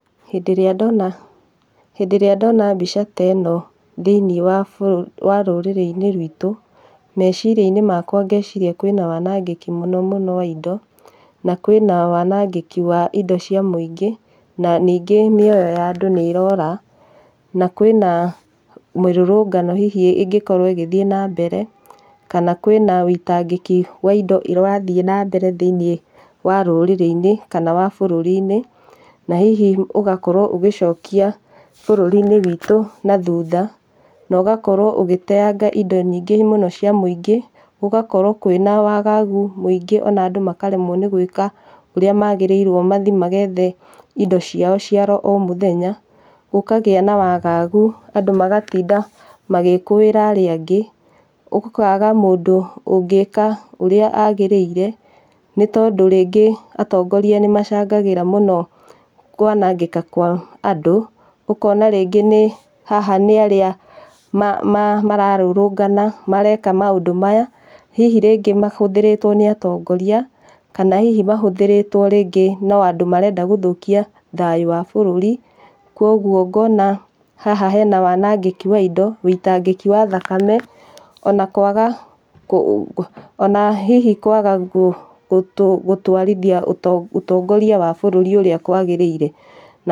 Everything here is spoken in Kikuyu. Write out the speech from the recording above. Hindĩ ĩrĩa ndona mbica ta ĩno thĩinĩe wa rũrĩrĩ-inĩ rwitũ, meciria-inĩ makwa ngeciria kwĩna wanagĩki mũno mũno wa indo, na kwĩna wanangĩki wa indo cia mũingĩ na ningĩ mĩoyo ya andũ nĩ ĩrora na kwĩna mĩrũrũngano hihi ĩngĩkorwo ĩgĩthĩe na mbere kana kwĩna wĩitangĩki wa indo ũrathĩe na mbere thĩinĩe wa rũrĩrĩ-inĩ kana wa bũrũri-inĩ, na hihi ũgakorwo ũgĩcokia bũrũri-inĩ witũ nathutha, na ũgakorwo ũgĩteanga indo nyingĩ mũno cia mũingĩ, gũgakorwo kwĩna wagagu mũingĩ ona andũ makaremwo nĩ gwĩka ũrĩa magĩrĩirwo mathĩĩ magethe indo ciao cia oro mũthenya gũkagĩa na wagagu andũ magatinda magĩkũĩra arĩa angĩ, gũkaga mũndũ ũngĩka ũrĩa agĩrĩire nĩtondũ rĩngĩ atongoroa nĩmacangagĩra mũno kwanangĩka kwa andũ ũkona rĩngĩ haha nĩ arĩa mararũrũngana mareka maũndũ maya hihi rĩngĩ mahũthĩrĩtwo nĩ atongoroa kana hihi mahũthĩrĩtwo rĩngĩ no andũ marenda gũthũkia thayũ wa bũrũri, kwa ũguo ngona haha hena wanangĩki wa indo wĩitangĩki wa thakame, ona hihi kwaga gũtwarithia ũtongoria wa bũrũri ũrĩa kũagĩrĩire.